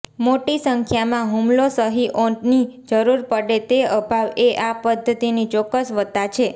મોટી સંખ્યામાં હુમલો સહીઓની જરૂર પડે તે અભાવ એ આ પદ્ધતિની ચોક્કસ વત્તા છે